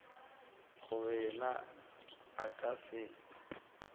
gore yena a ka se